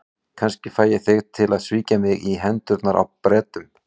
Kannski fæ ég þig til að svíkja mig í hendurnar á Bretunum.